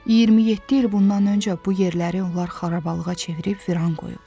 27 il bundan öncə bu yerləri onlar xarabalıqa çevirib viran qoyublar.